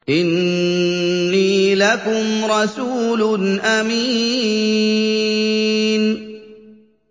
إِنِّي لَكُمْ رَسُولٌ أَمِينٌ